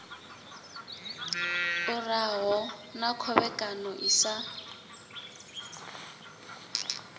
uraho na khovhekano i sa